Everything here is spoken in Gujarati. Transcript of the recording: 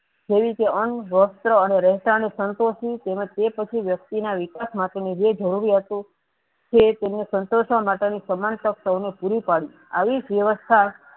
જેવીકે અનવસ્ત્ર અને રહેઠાણ સંતોંસી તેમજ તેપછી વ્યક્તિના વિકાસ માટેની જે જરૂરિયાતો છે તેમને સન્તોસવા માટે ની સમાન પક્ષ તેને પૂરું પડ્યું આવીજ વ્યવસ્થા